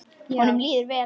Honum líður vel.